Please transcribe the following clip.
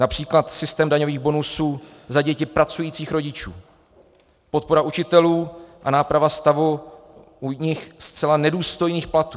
Například systém daňových bonusů za děti pracujících rodičů, podpora učitelů a náprava stavu u nich zcela nedůstojných platů.